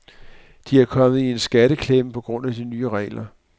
De er kommet i en skatteklemme på grund af de nye regler.